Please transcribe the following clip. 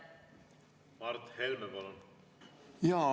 Mart Helme, palun!